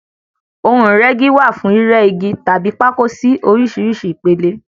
ohun Ìrẹ́gi wá fún rírẹ́ Igi tàbí pákó sí oríṣìíríṣìí ìpele.